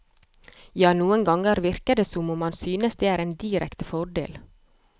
Ja, noen ganger virker det som om han synes det er en direkte fordel.